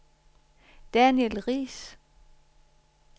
Daniel Riis